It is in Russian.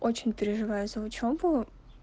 очень переживаю за учёбу